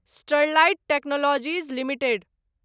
Sterlite Technologies limited